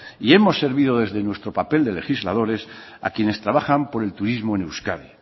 y hemos servido desde nuestro papel de legisladores a quienes trabajan por el turismo en euskadi